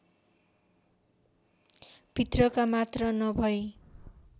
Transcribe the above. भित्रका मात्र नभै